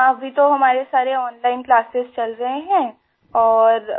हाँ अभी तो हमारे सारे ओनलाइन क्लासेस चल रहे हैं और